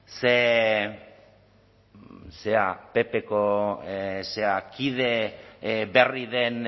ze zera ppko kide berri den